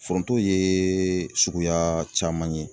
Foronto ye suguya caman ye.